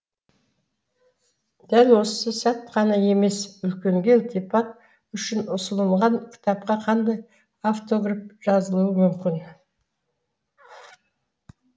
дәп осы сәт қана емес үлкенге ілтипат үшін ұсынылған кітапқа қандай автограф жазылуы мүмкін